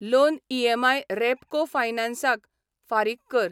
Loan EMI Repco फायनान्सक फारीक कर.